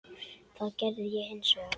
Það gerði ég hins vegar.